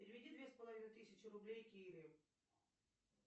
переведи две с половиной тысячи рублей кире